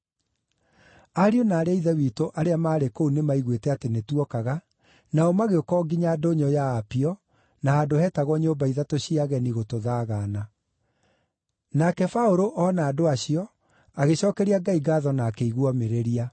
Ariũ na aarĩ a Ithe witũ arĩa maarĩ kũu nĩmaiguĩte atĩ nĩtuokaga, nao magĩũka o nginya ndũnyũ ya Apio, na handũ hetagwo Nyũmba Ithatũ cia Ageni gũtũthaagaana. Nake Paũlũ ona andũ acio, agĩcookeria Ngai ngaatho na akĩigua omĩrĩria.